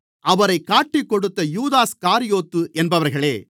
அவரைக் காட்டிக்கொடுத்த யூதாஸ்காரியோத்து என்பவர்களே